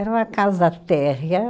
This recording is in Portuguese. Era uma casa térrea.